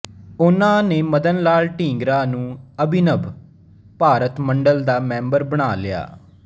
ਉਹਨਾਂ ਨੇ ਮਦਨ ਲਾਲ ਢੀਂਗਰਾ ਨੂੰ ਅਭਿਨਵ ਭਾਰਤ ਮੰਡਲ ਦਾ ਮੈਂਬਰ ਬਣਾ ਲਿਆ